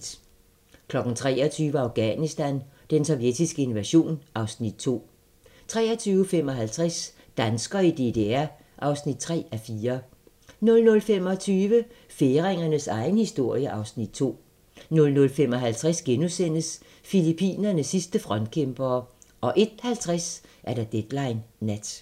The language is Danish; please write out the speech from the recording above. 23:00: Afghanistan: Den sovjetiske invasion (Afs. 2) 23:55: Danskere i DDR (3:4) 00:25: Færingernes egen historie (Afs. 2) 00:55: Filippinernes sidste frontkæmpere * 01:50: Deadline Nat